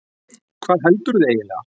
Hvað heldurðu eiginlega?